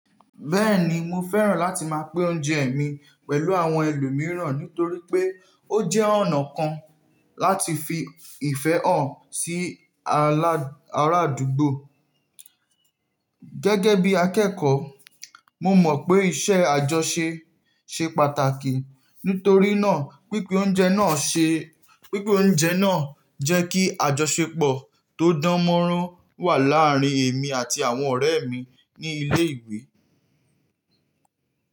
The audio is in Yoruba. Bẹ́ẹ̀ni, mo fẹ́ràn láti máa pín oúnjẹ mi pẹ̀lú àwọn ẹlòmíràn nítorí pé ó jẹ́ ọ̀nà kan láti fi ìfẹ́ hàn sí ará àdúgbò. Gẹ́gẹ́ bí akẹ́kọ̀ọ́, mo mọ̀ pé iṣẹ́ àjọṣe ṣe pàtàkì. Nítorí náà, pínpín oúnjẹ náà ṣe, pínpín oúnjẹ náà jẹ́ kí àjọṣepọ̀ tó dánmọ́rán wà láàárín èmi àti àwọn ọ̀rẹ́ mi ní ilé ìwé.